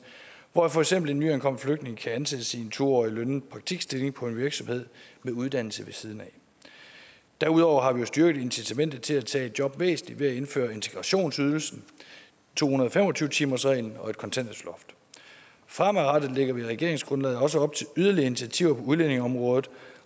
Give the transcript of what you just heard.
hvor for eksempel en nyankommen flygtning kan ansættes i en to årig lønnet praktikstilling på en virksomhed med uddannelse ved siden af derudover har vi jo styrket incitamentet til at tage et job væsentligt ved at indføre integrationsydelsen to hundrede og fem og tyve timersreglen og et kontanthjælpsloft fremadrettet lægger vi i regeringsgrundlaget også op til yderligere initiativer på udlændingeområdet